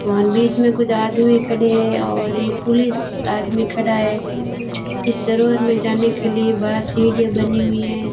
वहां बीच में कुछ आदमी खड़े हैं और एक पुलिस आदमी खड़ा है इस दरबार में जाने के लिए बाहर सीढ़ियां बनी हुई हैं।